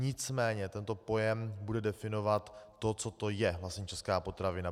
Nicméně tento pojem bude definovat to, co to je vlastně česká potravina.